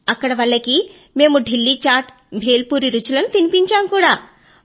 అక్కడ వాళ్లకి మేము ఢిల్లీ ఛాట్ భేల్ పురీ రుచులను చూపెట్టాము కూడా